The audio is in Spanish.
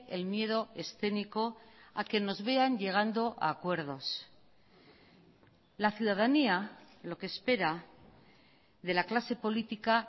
el miedo escénico a que nos vean llegando a acuerdos la ciudadanía lo que espera de la clase política